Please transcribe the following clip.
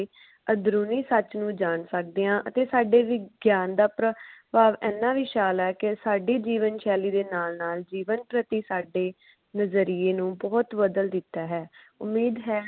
ਅੰਦਰੂਨੀ ਸੱਚ ਨੂੰ ਜਾਣ ਸਕਦੇ ਆ ਅਤੇ ਸਾਡੇ ਵਿਗਿਆਨ ਦਾ ਪ੍ਰਭਾਵ ਇੰਨਾ ਵਿਸ਼ਾਲ ਹੈ ਕੇ ਸਾਡੀ ਜੀਵਨ ਸ਼ੈਲੀ ਦੇ ਨਾਲ ਨਾਲ ਜੀਵਨ ਪ੍ਰਤੀ ਸਾਡੇ ਨਜ਼ਰੀਏ ਨੂੰ ਬਦਲ ਦਿਤਾ ਹੈ। ਉਮੀਦ ਹੈ